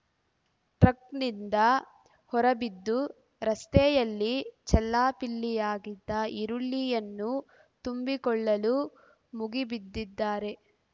ಟ್ರಕ್‌ನಿಂದ ಹೊರಬಿದ್ದು ರಸ್ತೆಯಲ್ಲಿ ಚೆಲ್ಲಾಪಿಲ್ಲಿಯಾಗಿದ್ದ ಈರುಳ್ಳಿಯನ್ನು ತುಂಬಿಕೊಳ್ಳಲು ಮುಗಿ ಬಿದ್ದಿದ್ದಾರೆ